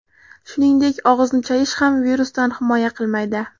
Shuningdek, og‘izni chayish ham virusdan himoya qilmaydi.